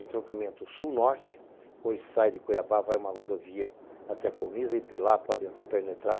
Entroncamento sul-norte, hoje sai de Cuiabá, vai uma rodovia até a colunisa e de lá pode penetrar